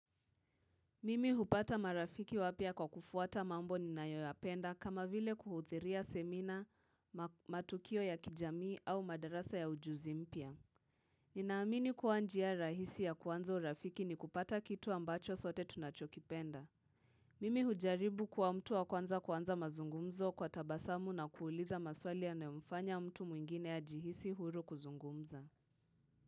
Mimi hupata marafiki wapya kwa kufuata mambo ninayoyapenda kama vile kuhudhuria semina matukio ya kijamii au madarasa ya ujuzi mpya. Ninaamini kuwa njia rahisi ya kuanza urafiki ni kupata kitu ambacho sote tunachokipenda. Mimi hujaribu kuwa mtu wa kwanza kuanza mazungumzo kwa tabasamu na kuuliza maswali yanayomfanya mtu mwingine ajihisi huru kuzungumza.